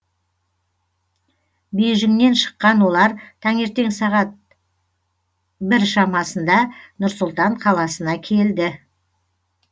бейжіңнен шыққан олар таңертең сағат бір шамасында нұр сұлтан қаласына келді